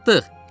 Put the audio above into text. Çatdıq!